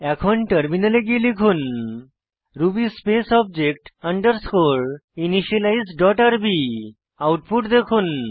এখন টার্মিনালে গিয়ে লিখুন Ruby space object underscore initialize dot rb output দেখুন